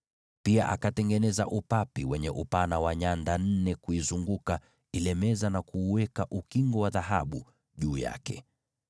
Pia akatengeneza upapi wenye upana wa nyanda nne, na kuufanyia ule upapi ukingo wa dhahabu kuuzunguka pande zote.